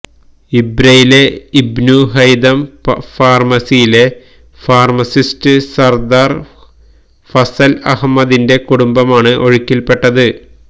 ഇബ്രയിലെ Ibn Haitham ഫാര്മസിയിലെ pharmacist Sardar Fazal അഹ്്മദിന്റെ കുടുംബമാണ് ഒഴുക്കില് പെട്ടത്